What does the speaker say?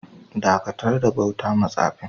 Dakatar da bauta ma tsafin!